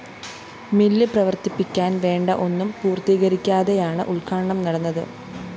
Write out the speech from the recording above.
mill പ്രവര്‍ത്തിപ്പിക്കാന്‍ വേണ്ട ഒന്നും പൂര്‍ത്തീകരിക്കാതെയാണ് ഉദ്ഘാടനം നടന്നത്